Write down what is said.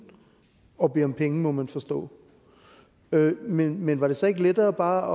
og bede om penge må man forstå men men var det så ikke lettere bare